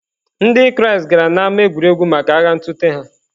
Ndị Kraịst gara n’ámá egwuregwu maka agha ntụte ha.